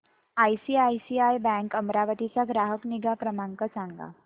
ICICI bank Amravati चा ग्राहक निगा क्रमांक सांगा